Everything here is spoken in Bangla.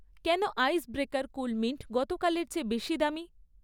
কেন আইস ব্রেকার কুলমিন্ট গতকালের চেয়ে বেশি দামী?